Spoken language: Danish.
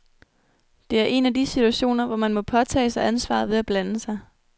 Det er en af de situationer, hvor man må påtage sig ansvaret ved at blande sig.